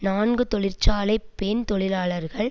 நான்கு தொழிற்சாலை பெண் தொழிலாளர்கள்